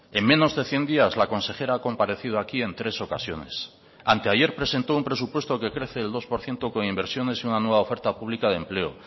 en menos de cien días la consejera ha comparecido aquí en tres ocasiones anteayer presentó un presupuesto que crece el dos por ciento con inversiones y una nueva oferta pública de empleo